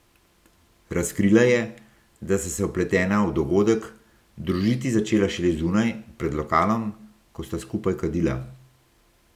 Razkrila je, da sta se vpletena v dogodek, družiti začela šele zunaj, pred lokalom, ko sta skupaj kadila.